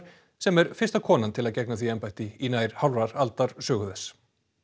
sem er fyrsta konan til að gegna því embætti í nær hálfrar aldar sögu þess